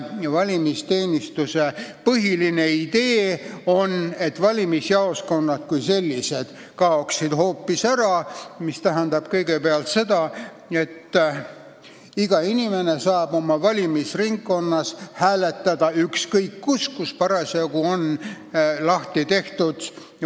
Valimisteenistuse põhiline idee on, et valimisjaoskonnad kui sellised kaoksid hoopis ära, mis tähendab kõigepealt seda, et iga inimene saab oma valimisringkonnas hääletada ükskõik millises kohas, kus parasjagu on valimispunkt lahti tehtud.